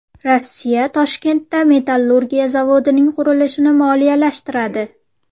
Rossiya Toshkentda metallurgiya zavodining qurilishini moliyalashtiradi.